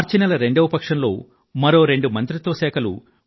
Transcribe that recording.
మార్చి నెల రెండవ పక్షంలో మరో రెండు మంత్రిత్వ శాఖలు